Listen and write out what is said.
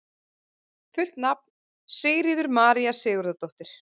Fullt nafn: Sigríður María Sigurðardóttir